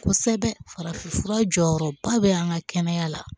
Kosɛbɛ farafin fura jɔyɔrɔba bɛ an ka kɛnɛya la